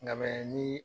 Nka ni